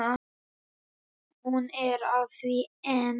Hún er að því enn!